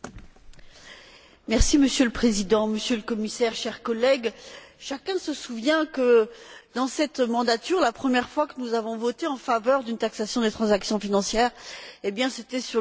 Monsieur le Président, Monsieur le Commissaire, chers collègues, chacun se souvient que, dans cette mandature, la première fois que nous avons voté en faveur d'une taxation des transactions financières, c'était sur le rapport dit crise.